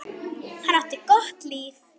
Hann átti gott líf.